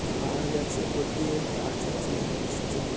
তার গাছে উপর দিয়ে গাছ আছে ল্যাম্পপোস্ট আছে বা--